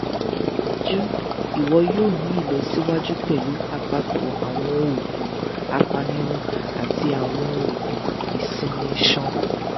dajudaju iwọ yoo ni ilọsiwaju pẹlu apapọ awọn oogun apanirun ati awọn oogun isinmi iṣan